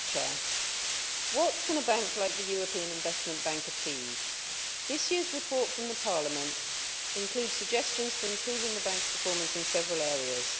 Madam President, what can a bank like the European Investment Bank achieve? This year's report from Parliament includes suggestions for improving the bank's performance in several areas.